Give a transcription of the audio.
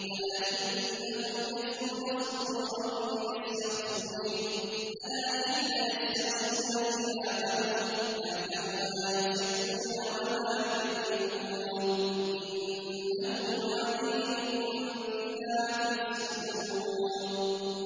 أَلَا إِنَّهُمْ يَثْنُونَ صُدُورَهُمْ لِيَسْتَخْفُوا مِنْهُ ۚ أَلَا حِينَ يَسْتَغْشُونَ ثِيَابَهُمْ يَعْلَمُ مَا يُسِرُّونَ وَمَا يُعْلِنُونَ ۚ إِنَّهُ عَلِيمٌ بِذَاتِ الصُّدُورِ